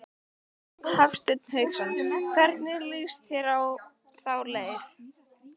Hafsteinn Hauksson: Hvernig lýst þér á þá leið?